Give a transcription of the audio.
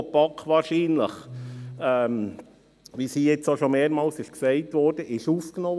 Diese Anliegen wurden von der BaK wahrscheinlich, wie es hier bereits mehrmals erwähnt worden ist, aufgenommen.